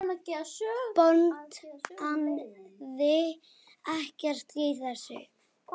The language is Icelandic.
Botnaði ekkert í þessu.